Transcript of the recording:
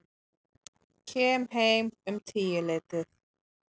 Kem heim um tíuleytið.